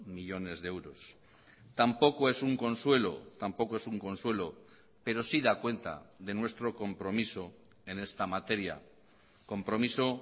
millónes de euros tampoco es un consuelo tampoco es un consuelo pero sí da cuenta de nuestro compromiso en esta materia compromiso